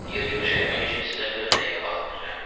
Yer yığış eləmək üçün sizə 40 dəqiqə vaxt verirəm.